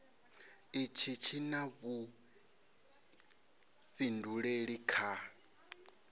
itshi tshi na vhuifhinduleli kha